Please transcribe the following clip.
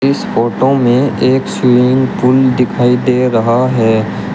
इस फोटो में एक स्विमिंग पूल दिखाई दे रहा है।